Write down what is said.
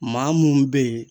Maa mun be yen